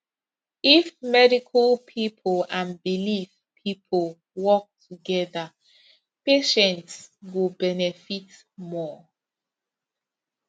if medical people and belief people work together patients go benefit more